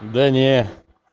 да нет